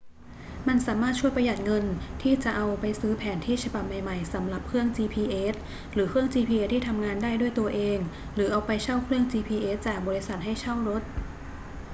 มันสามารถช่วยประหยัดเงินที่จะเอาไปซื้อแผนที่ฉบับใหม่ ๆ สำหรับเครื่อง gps หรือเครื่อง gps ที่ทำงานได้ด้วยตัวเองหรือเอาไปเช่าเครื่อง gps จากบริษัทให้เช่ารถ